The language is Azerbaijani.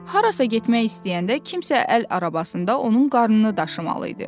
Harasa getmək istəyəndə kimsə əl arabasında onun qarnını daşımalı idi.